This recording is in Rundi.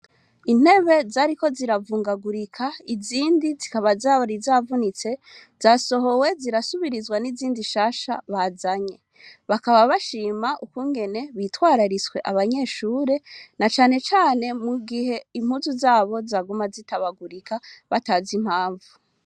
Intebe zariko ziravungagurika , zindi zikaba zari zavunitse, zasohowe, zirasubirizwa n'izindi nshasha bazanye. Bakaba bashima ukungene hitwararitswe abanyeshure, na canecane mu gihe impuzu z'abo zaguma zitabagurika batazi impamvu.